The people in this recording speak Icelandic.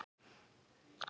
spurði ég hann.